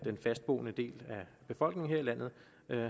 fastboende del af befolkningen her i landet